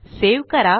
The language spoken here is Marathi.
सेव्ह करा